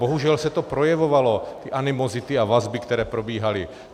Bohužel se to projevovalo, ty animozity a vazby, které probíhaly.